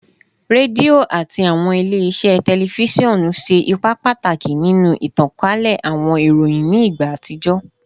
Redio ati awọn ile-iṣẹ tẹlifisiọnu ṣe ipa pataki ninu itankale awọn iroyin ni igba atijọ